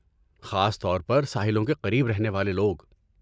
خاص طور پر ساحلوں کے قریب رہنے والے لوگ۔